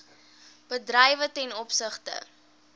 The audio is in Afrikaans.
bedrywe ten opsigte